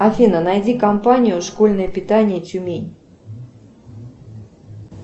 афина найди компанию школьное питание тюмень